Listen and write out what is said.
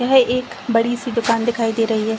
यह एक बड़ी सी दुकान दिखाई दे रही है।